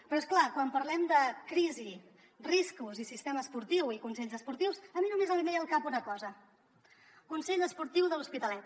però és clar quan parlem de crisi riscos i sistema esportiu i consells esportius a mi només em ve al cap una cosa consell esportiu de l’hospitalet